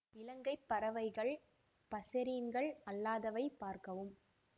இலங்கை பறவைகள் பசெரீன்கள் அல்லாதவை பார்க்கவும்